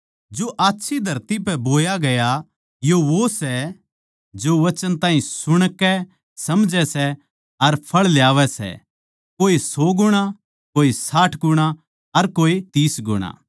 जो आच्छी धरती पै बोया गया यो वो सै जो वचन ताहीं सुणकै समझै सै अर फळ ल्यावै सै कोए सौ गुणा कोए साठ गुणा अर कोए तीस गुणा